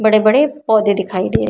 बड़े बड़े पौधे दिखाई दे रहे।